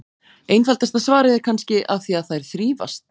Einfaldasta svarið er kannski: Af því að þær þrífast!